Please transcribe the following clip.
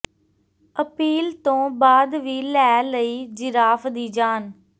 appeal ਤੋਂ ਬਾਅਦ ਵੀ ਲੈ ਲਈ ਜਿਰਾਫ਼ ਦੀ ਜਾਨ